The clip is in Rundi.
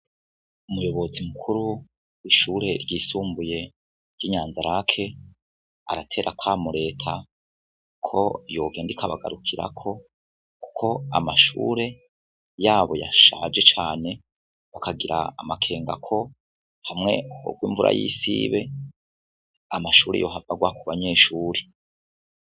Umuyobozi mukuru w'ishuri ryisumbuye ry'i Nyanza-Lac aratera akamo Reta ko yogenda ikabagarukirako, kuko amashure yabo yashaje cane bakagira amakenga ko hamwe horwa imvura y'isibe amashuri yohava arwa ku banyeshuri.